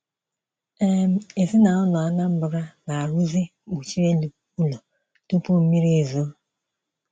um Ezinaụlọ Anambra na-aruzi nkpuchi elu ụlọ tupu mmiri ezoo.